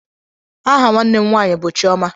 Aha nwanne m nwanyị bú Chioma.